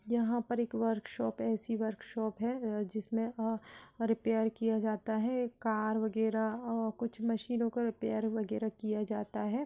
यहां पर एक वर्कशॉप है ऐसी वर्कशॉप है ए जिसमे अ -- रेपैर किया जाता है कार वगैरा अ -- कुछ मशीनों को रेपैर वगैरा किया जाता है।